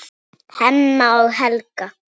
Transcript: Hemma og Helga.